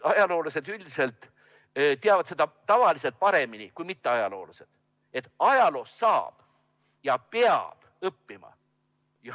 Ajaloolased üldiselt teavad paremini kui mitteajaloolased, et ajaloost saab ja peab õppima.